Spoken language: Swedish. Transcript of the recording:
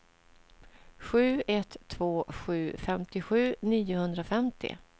sju ett två sju femtiosju niohundrafemtio